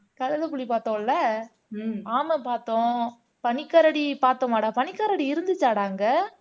கழுதை புலி பாத்தோம்ல ஆமை பாத்தோம் பனிக்கரடி பாத்தோமடா பனிக்கரடி இருந்துச்சாடா அங்க